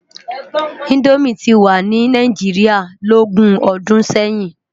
Indómi ti wá ni Náijiriá lógún òdún sèyin